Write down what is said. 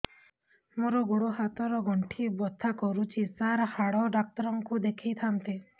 ମୋର ଗୋଡ ହାତ ର ଗଣ୍ଠି ବଥା କରୁଛି ସାର ହାଡ଼ ଡାକ୍ତର ଙ୍କୁ ଦେଖାଇ ଥାନ୍ତି